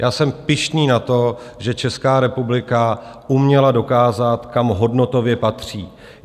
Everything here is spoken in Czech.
Já jsem pyšný na to, že Česká republika uměla dokázat, kam hodnotově patří.